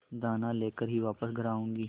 दाना लेकर ही वापस घर आऊँगी